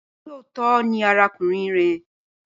Olóòótọ́ .ni arákùnrin rẹ̀.